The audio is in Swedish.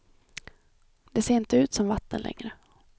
Det ser inte ut som vatten längre.